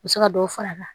U bɛ se ka dɔ fara a kan